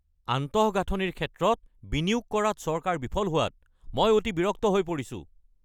আন্তঃগাঁথনিৰ ক্ষেত্ৰত বিনিয়োগ কৰাত চৰকাৰ বিফল হোৱাত মই অতি বিৰক্ত হৈ পৰিছোঁ।